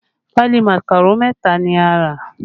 Pali màkàró mẹta ni a rà